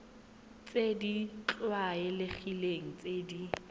tse di tlwaelegileng tse di